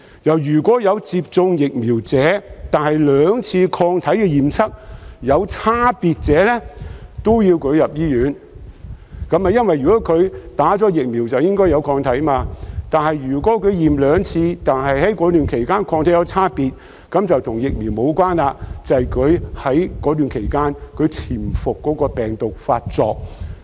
若有接種疫苗，但兩次抗體驗測有差別，亦要送入醫院，因為接種疫苗後便應有抗體，但如果驗測兩次，而該期間抗體有差別，便與疫苗無關，而是該期間潛伏的病毒發作。